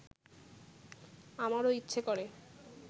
আমারও ইচ্ছে করে